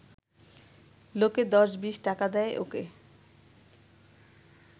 লোকে দশ-বিশ টাকা দেয় ওকে